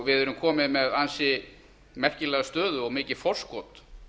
við erum komin með ansi merkilega stöðu og mikið forskot